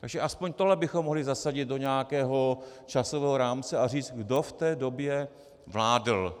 Takže aspoň tohle bychom mohli zasadit do nějakého časového rámce a říct, kdo v té době vládl.